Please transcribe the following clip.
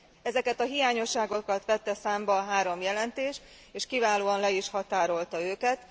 Ezeket a hiányosságokat vette számba a három jelentés és kiválóan le is határolta őket.